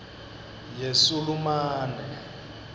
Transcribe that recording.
yesulumane